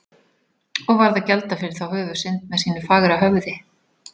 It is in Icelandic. Og varð að gjalda fyrir þá höfuðsynd með sínu fagra höfði.